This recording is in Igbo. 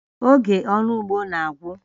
Oge ọrụ ugbo na-agwụ